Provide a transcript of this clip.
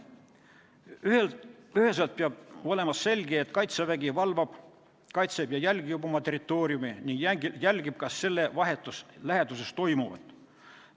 Peab olema üheselt selge, et Kaitsevägi valvab, kaitseb ja jälgib oma territooriumi ning jälgib ka selle vahetus läheduses toimuvat.